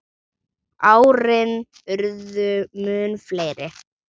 Árin urðu mun fleiri.